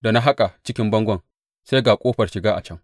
Da na haƙa cikin bangon sai na ga ƙofar shiga a can.